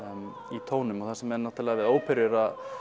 í tónum og það sem er náttúrulega við óperu er að